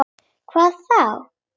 Vá hvað?